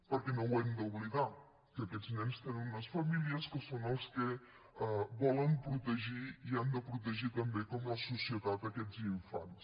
perquè no ho hem d’oblidar que aquests nens tenen unes famílies que són els que volen protegir i han de protegir també com la societat aquests infants